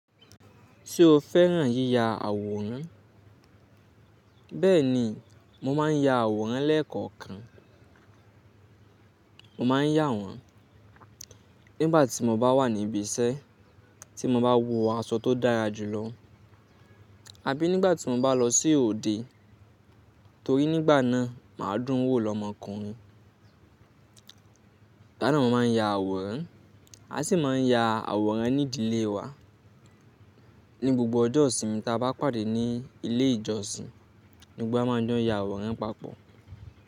Ṣé o fẹ́ràn yíya àwòrán? Bẹ́ẹ̀ni, mo máa ń ya àwòrán lẹ́ẹ̀kọ̀kan. Mo máa ń yà wọ́n nígbà tí mo bá wà ní ibi iṣẹ́ tí mo bá wọ aṣọ tó dára jù lọ àbí nígbà tí mo bá lọ sí òde torí nígbà náà màá dún wò lọ́mọkùnrin. Ìgbà náà mo máa ń ya àwòrán. A sì máa ń ya àwòrán ní ìdílé wa ní gbogbo ọjọ́ ìsinmi tí a bá pàdé ní ilé ìjọsìn. Gbogbo wá máa ń jọ́ ya àwòrán papọ̀